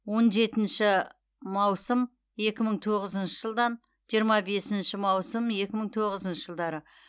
он жетінші маусым екі мың тоғызыншы жылдан жиырма бесінші маусым екі мың тоғызыншы жылдары